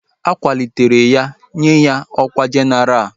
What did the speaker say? A kwalitere ya nye ya ọkwá jenaral